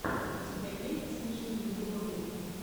у тебя есть смешные влоги